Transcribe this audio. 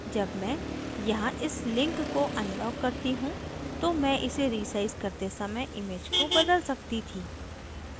जब मैं यहाँ इस link को unlock करती हूँ तो मैं इसे रीसाइज करते समय image को बदल सकती थी